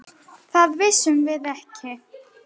Það vissum við ekki.